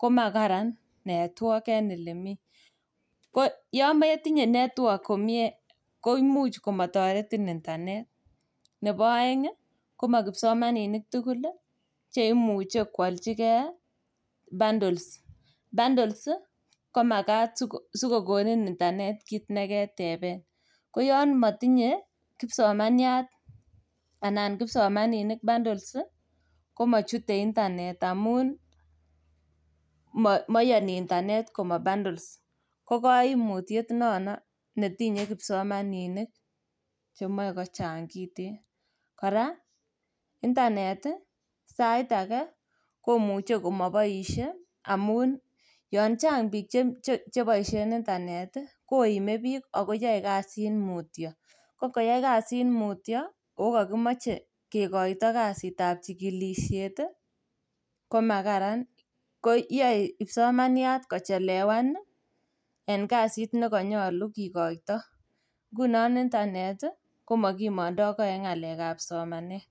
komakararan network en elemi. Ko yon metinye network komie koimuch komataretin intanet. Nebo aeng komakipsomaninik tugul che imuche kwalchige bandols. Bandols komagat sikokonin intanet kit ne keteben. Ko yon matinye kipsomaniat anan kipsomaninik bandols ii, komachute intanet amun, mayoni intanet komabandols. Ko kaimutiet nono netinye kipsomaninik chemoe kochang kiten. Kora intanet sait age komuche komaboisie amun yon chang biik cheboisien intanet koime biik ago yoe kasit mutyo. Ko ngobois mutyo okakimoche kekoito kasitab chigilisiet komakararan. Koyoe kipsomaniat kochelewan en kasit ne konyalu kikoito. Ngunon intanet komakimondoge en ngalekab somanet.